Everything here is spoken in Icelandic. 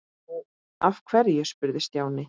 Nú, af hverju? spurði Stjáni.